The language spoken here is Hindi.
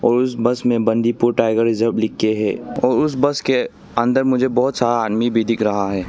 उस बस पे बंदीपुर टाइगर रिजर्व लिख कर है उस बस के अंदर मुझे बहोत सारा आदमी भी दिख रहा है।